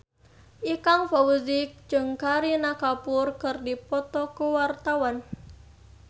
Ikang Fawzi jeung Kareena Kapoor keur dipoto ku wartawan